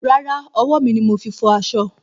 Rárá, ọwọ́ mi ni mo fi fọ aṣọ.